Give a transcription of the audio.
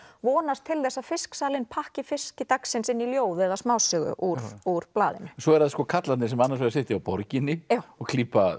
vonast til að pakki fiski dagsins inn í ljóð eða smásögu úr úr blaðinu svo eru það karlarnir sem annars vegar sitja á borginni og klípa